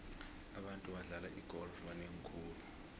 abantu abadlala igolf banengi khulu